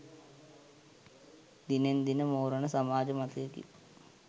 දිනෙන් දින මෝරන සමාජ මතයකි.